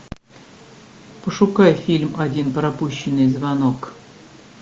пошукай фильм один пропущенный звонок